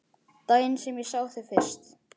Daginn sem ég sá þig fyrst.